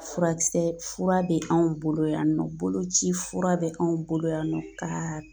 Furakisɛ fura bɛ anw bolo yan nɔ boloci fura bɛ k'anw bolo yan nɔ ka